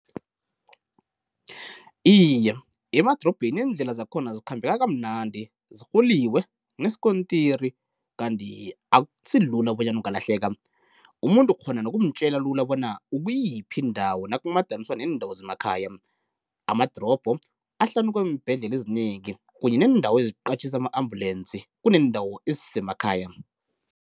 Iye emadorobheni iindlela zakhona zikhambeka kamnandi, zirhuliwe, kuneskontiri kanti akusilula bonyana ungalahleka, umuntu ukghona nokumtjela lula bona ukwiyiphi indawo nakumadaniswa neendawo zemakhaya. Amadorobho ahlanu kweembhedlela ezinengi kunye needawo eziqatjhisa ama-ambulensi kuneendawo zemakhaya.